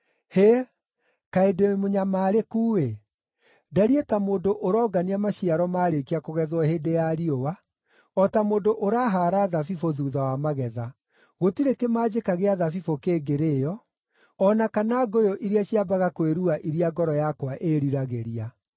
Hĩ, kaĩ ndĩ mũnyamarĩku-ĩ! Ndariĩ ta mũndũ ũrongania maciaro maarĩkia kũgethwo hĩndĩ ya riũa, o ta mũndũ ũrahaara thabibũ thuutha wa magetha; gũtirĩ kĩmanjĩka gĩa thabibũ kĩngĩrĩĩo, o na kana ngũyũ iria ciambaga kwĩrua iria ngoro yakwa ĩĩriragĩria.